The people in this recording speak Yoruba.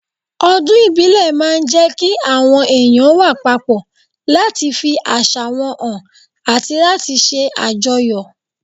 Ọdún ìbílẹ̀ máa ń jẹ́ kí àwọn èèyàn wà papọ̀ láti fi àṣà wọn hàn àti láti ṣe àjọyọ̀